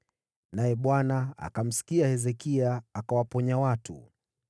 Naye Bwana akamsikia Hezekia akawaponya watu.